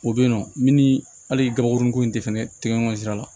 O bɛ yen nɔ min ni hali gaburunin ko in tɛ fɛnɛ tɛɲɔgɔn sira la